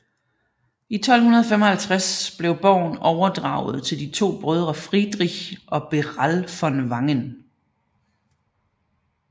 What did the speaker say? I 1255 blev borgen overdraget til de to brødre Friedrich og Beral von Wangen